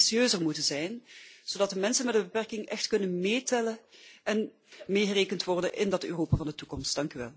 We zouden ambitieuzer moeten zijn, zodat de mensen met een beperking echt kunnen meetellen en meegerekend worden in dat Europa van de toekomst.